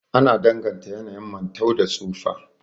Ana danganta yanayin mantau da tsufa